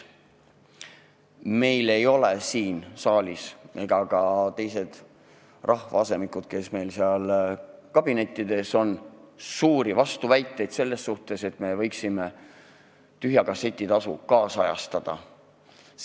Meil ei ole siin saalis ega ka rahvaasemikel, kes on praegu kabinettides, suuri vastuväiteid selle suhtes, et võiks tühja kasseti tasu ajakohastada.